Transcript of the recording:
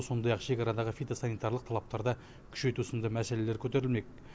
сондай ақ шекарадағы фитосанитарлық талаптарды күшейту сынды мәселелер көтерілмек